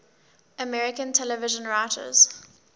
american television writers